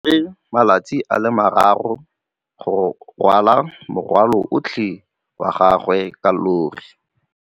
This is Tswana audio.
O tsere malatsi a le marraro go rwala morwalo otlhe wa gagwe ka llori.